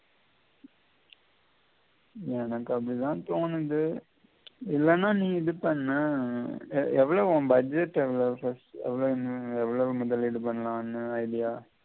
எனக்கு அப்படித்தான் தோணுது இல்லேனா நீ இது பண்ணு எர் எவ்வளவு உன் budget எவ்வளவு first எவ்வளவு முதலீடு பண்ணலாம்னு idea